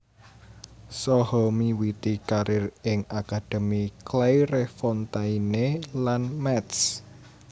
Saha miwiti karir ing akademi Clairefontaine lan Metz